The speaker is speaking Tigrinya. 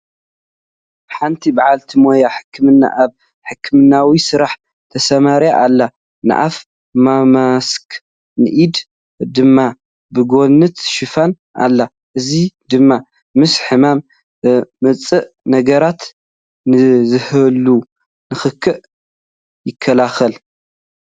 ሓንቲ በዓልቲ ሞያ ሕክምና ኣብ ሕክምናዊ ስራሕ ተሰማሪዋ ኣላ፡፡ ንኣፋ ብማስክ ንኢዳ ድማ ብጓንት ሸፊና ኣላ፡፡ እዚ ድማ ምስ ሕማም ዘምፅኡ ነገራት ንዝህሉ ንኽክእ ይከላኸል፡፡